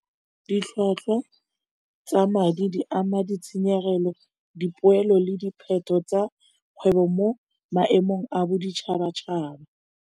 Ditlhwatlhwa tsa madi di ama ditshenyegelo dipoelo le tsa kgwebo mo maemong a boditšhaba-tšhaba.